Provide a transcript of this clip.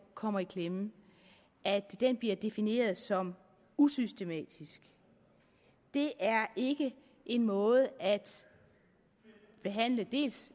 kommer i klemme bliver defineret som usystematisk det er ikke en måde at behandle dels